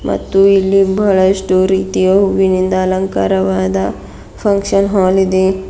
ಮತ್ತು ಇಲ್ಲಿ ಬಹಳಷ್ಟು ರೀತಿಯ ಹೂವಿನಿಂದ ಅಲಂಕಾರವಾದ ಫಂಕ್ಷನ್ ಹಾಲ್ ಇದೆ.